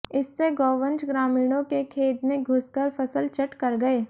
इससे गोवंश ग्रामीणों के खेत में घुस कर फसल चट कर गए